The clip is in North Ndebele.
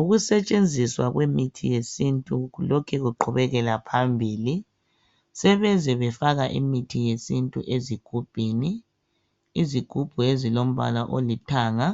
Ukusetshenziswa kwemithi yesintu lokhe ukuqhubekela phambili sebeze befaka imithi yesintu ezigubhini, izigubhu ezilombala olithanga